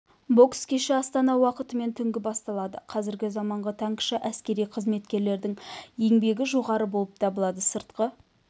бокс кеші астана уақытымен түнгі басталады қазіргі заманғы танкіші әскери қызметшілердің еңбегі жоғары болып табылады сыртқы